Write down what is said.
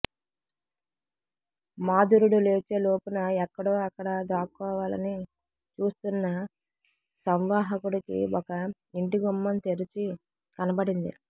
మాథురుడు లేచే లోపున ఎక్కడో అక్కడ దాక్కోవాలని చూస్తున్న సంవాహకుడికి ఒక యింటి గుమ్మం తెరిచి కనబడింది